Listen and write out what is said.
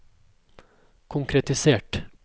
konkretisert